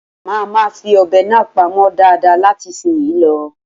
Mà máa fi ọ̀bẹ náà pamọ́ dáadáa láti ìsinsìnyí lọ.